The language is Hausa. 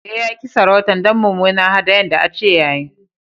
Eh, ya ki sarautan dan mumunar hadayan da an ce ya yi.